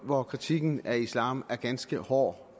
hvor kritikken af islam er ganske hård